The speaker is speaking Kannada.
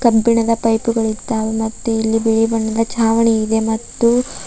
ಕಬ್ಬಿಣದ ಪೈಪುಗಳಿದ್ದಾವೆ ಮತ್ತು ಇಲ್ಲಿ ಬಿಳಿ ಬಣ್ಣದ ಛಾವಣಿ ಇದೆ ಮತ್ತು--